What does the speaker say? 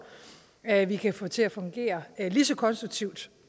at vi kan få til at fungere lige så konstruktivt